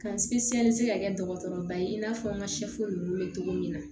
Ka se ka kɛ dɔgɔtɔrɔba ye i n'a fɔ n ka ninnu bɛ cogo min na